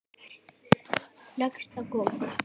Leggst á gólfið.